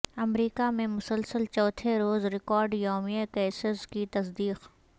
امریکہ میں مسلسل چوتھے روز ریکارڈ یومیہ کیسز کی تصدیق